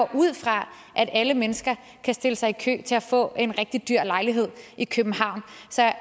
ud fra at alle mennesker kan stille sig i kø til at få en rigtig dyr lejlighed i københavn